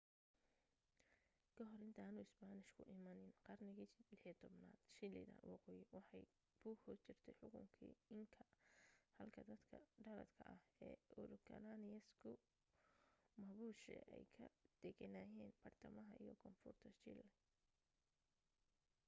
ka hor intaanu isbaanishku imaanin qarnigii 16aad chile ta waqooyi waxay ku hoos jirtay xukunki inca halka dadka dhaladka ah ee araucanians ku mapuche ay ka degenaayeen badhtamaha iyo koonfurta chile